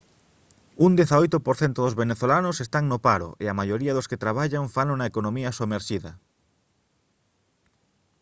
un 18 % dos venezolanos están no paro e a maioría dos que traballan fano na economía somerxida